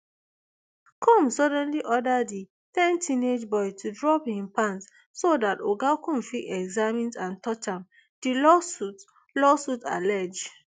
combs suddenly order di ten teenage boy to drop im pant so dat oga comb fit examine and touch am di lawsuit lawsuit allege